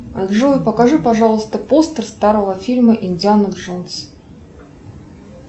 джой покажи пожалуйста постер старого фильма индиана джонс